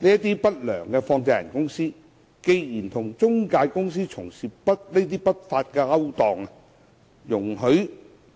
這些不良放債人公司既然與中介公司從事不法勾當，容許